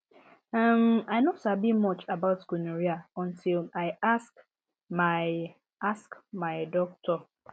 uhm i no sabi much about gonorrhea until i ask my ask my doctor